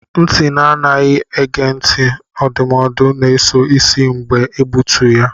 Ntị na-adịghị ege ntị ndụmọdụ na-eso isi mgbe a na-egbutu ya.